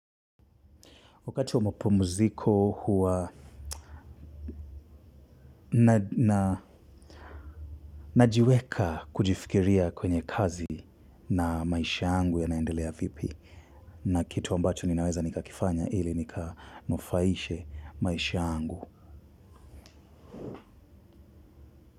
Wakati wa mapumziko huwa najiweka kujifikiria kwenye kazi na maisha yangu yanaendelea vipi na kitu ambacho ninaweza nikakifanya ili nikanufaishe maisha yangu.